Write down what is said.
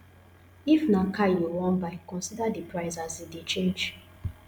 if na car you wan buy consider di price as e dey change